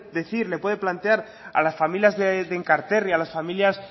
decir le pude plantear a las familias de enkarterri a las familias